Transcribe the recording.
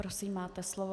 Prosím, máte slovo.